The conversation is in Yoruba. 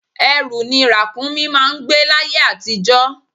Ẹrù ni Ràkúnmí máà ń gbé l'ayé àtijó